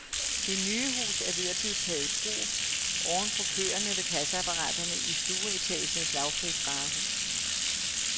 Det nye hus er ved at blive taget i brug oven på køerne ved kasseapparaterne i stueetagens lavprisvarehus.